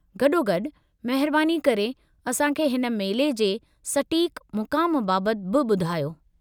गॾोगॾु, महिरबानी करे असां खे हिन मेले जे सटीकु मुक़ामु बाबति बि ॿुधायो।